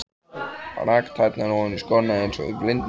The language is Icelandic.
Rak tærnar ofan í skóna eins og í blindni.